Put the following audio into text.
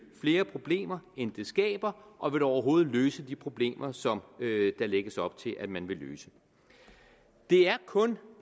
flere problemer end det skaber og vil det overhovedet løse de problemer som der lægges op til at man vil løse det er kun